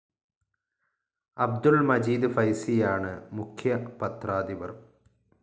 അബ്ദുൾ മജീദ് ഫൈസിയാണ് മുഖ്യ പത്രാധിപർ.